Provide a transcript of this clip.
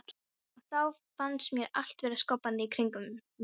Og þá fannst mér allt vera skoppandi í kringum mig.